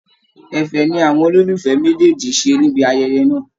Ẹ̀fẹ̀ ni àwọn olólùfẹ́ méjèèjì ṣé níbi ayẹyẹ náà